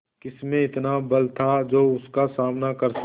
किसमें इतना बल था जो उसका सामना कर सके